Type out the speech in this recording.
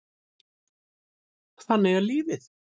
Þannig er lífið.